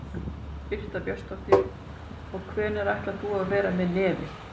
Birta Björnsdóttir: Og hvenær ætlar þú að vera með nefið?